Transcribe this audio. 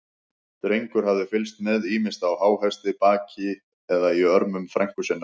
Drengur hafði fylgst með, ýmist á háhesti, baki eða í örmum frænku sinnar.